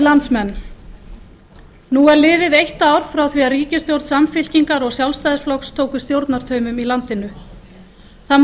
landsmenn nú er liðið eitt ár frá því að ríkisstjórn samfylkingar og sjálfstæðisflokks tóku við stjórnartaumum í landinu það